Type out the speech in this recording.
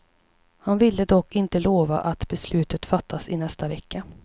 Han ville dock inte lova att beslutet fattas i nästa vecka.